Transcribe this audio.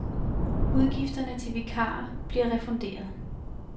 Udgifterne til vikarer bliver refunderet.